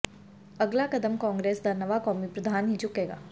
ਅਗਲਾ ਕਦਮ ਕਾਂਗਰਸ ਦਾ ਨਵਾਂ ਕੌਮੀ ਪ੍ਰਧਾਨ ਹੀ ਚੁੱਕੇਗਾ